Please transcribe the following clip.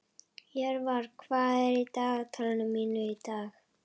Jörvar, hvað er í dagatalinu mínu í dag?